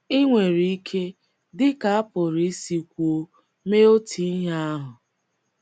Ị nwere ike, dị ka a pụrụ isi kwuo, mee otu ihe ahụ.